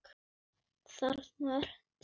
Þarna ertu!